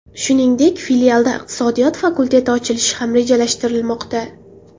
Shuningdek, filialda iqtisodiyot fakulteti ochilishi ham rejalashtirilmoqda.